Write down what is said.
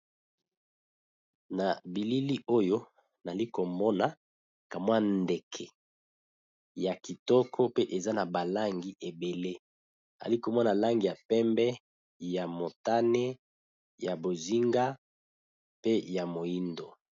na bilili oyo nali komona kamwa ndeke ya kitoko pe eza na balangi ebele nali komona langi ya pembe ya motane ya bozinga pe ya moindo.